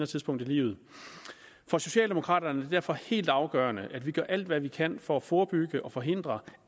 tidspunkt i livet for socialdemokraterne er det derfor helt afgørende at vi gør alt hvad vi kan for at forebygge og forhindre